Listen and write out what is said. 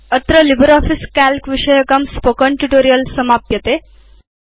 अत्र LibreOffice Calc विषयकं spoken tutorial समाप्यते